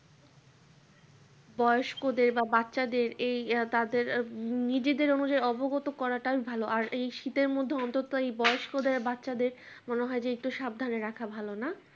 বয়স্ক দেড় বা বাচ্চাদের এই আ তাদের নিজেদের অনুযায়ী অবগত করাটাই ভালো আর এই শীতের মধ্যেই অন্তত বয়স্কদের বাচ্চাদের মনে হয় যে একটু সাবধানে রাখা ভালো না